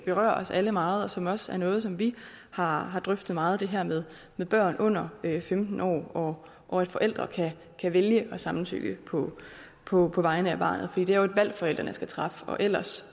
berører os alle meget og som også er noget som vi har drøftet meget nemlig det her med med børn under femten år og at forældre kan vælge at samtykke på på vegne af barnet fordi det er et valg forældrene skal træffe og ellers